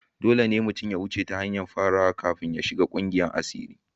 Dole ne mutum ya wuce ta hanyar farawa kafin shiga kungiyar asiri.